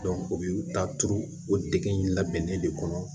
u b'u ta turu o degu labɛnnen de kɔnɔ